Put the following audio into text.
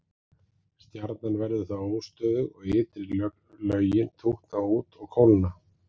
Stjarnan verður þá óstöðug og ytri lögin tútna út og kólna.